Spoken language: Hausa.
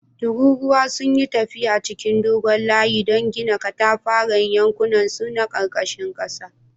Tururuwa sun yi tafiya cikin dogon layi don gina katafaren yankunansu na karkashin ƙasa